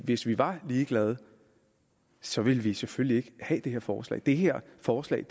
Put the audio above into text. hvis vi var ligeglade så ville vi selvfølgelig ikke have det her forslag det her forslag